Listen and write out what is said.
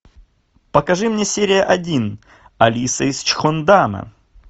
покажи мне серия один алиса из чхондана